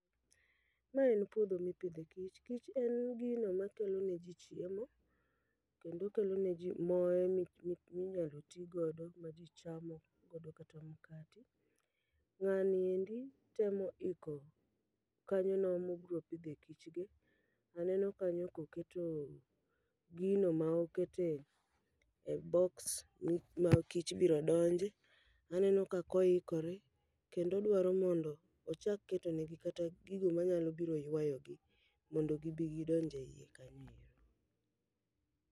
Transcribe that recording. Mae en puodho mipidhe kich, kich en gino makelo ne ji chiemo kendo kelo ne ji moe minyalo ti godo ma ji chamo godo kata mkati. Ng'ani endi temo iko kanyono mobro pidhe kichgi. Aneno kanyo koketo gino ma okete e boks mi ma kich biro donje, aneno kakoikore. Kendo odwaro mondo ochak ketonegi kata gigo manyalo biro ywayogi, mondo gibi gidonj e iye kanyo ero.